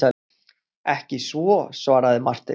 Ekki svo, svaraði Marteinn.